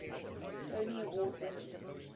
tony award winning